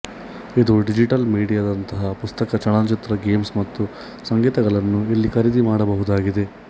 ಇದು ಡಿಜಿಟಲ್ ಮೀಡಿಯಾದಂತಹ ಪುಸ್ತಕ ಚಲನಚಿತ್ರ ಗೇಮ್ಸ್ ಮತ್ತು ಸಂಗೀತಗಳನ್ನು ಇಲ್ಲಿ ಖರೀದಿ ಮಾಡಬಹುದಾಗಿದೆ